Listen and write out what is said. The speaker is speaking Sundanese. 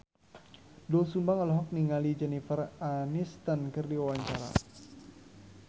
Doel Sumbang olohok ningali Jennifer Aniston keur diwawancara